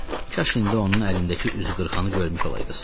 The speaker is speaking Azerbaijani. amma kaş indi onun əlindəki üzqırxanı görmüş olaydınız.